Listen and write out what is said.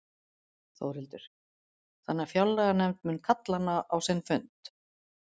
Þórhildur: Þannig að fjárlaganefnd mun kalla hana á sinn fund?